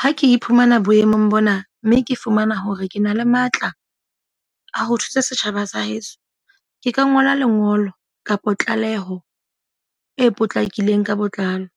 Ha ke iphumana boemong bona. Mme ke fumana hore ke na le matla a ho thusa setjhaba sa heso. Ke ka ngola lengolo kapa tlaleho e potlakileng ka botlalo.